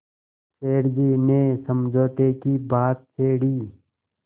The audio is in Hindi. सेठ जी ने समझौते की बात छेड़ी